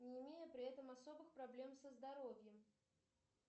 не имея при этом особых проблем со здоровьем